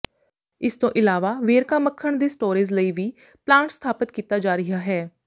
ਇਸ ਤੋਂ ਇਲਾਵਾ ਵੇਰਕਾ ਮੱਖਣ ਦੀ ਸਟੋਰੇਜ਼ ਲਈ ਵੀ ਪਲਾਂਟ ਸਥਾਪਤ ਕੀਤਾ ਜਾ ਰਿਹਾ ਹੈ